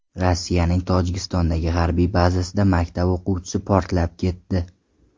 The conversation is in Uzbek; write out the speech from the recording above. Rossiyaning Tojikistondagi harbiy bazasida maktab o‘quvchisi portlab ketdi.